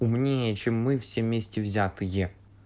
умнее чем мы все вместе взятые